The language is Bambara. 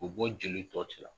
K'o bɔ jeli tɔ cɛra.